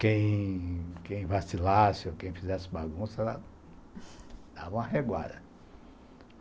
Quem quem vacilasse ou quem fizesse bagunça, dava uma reguada.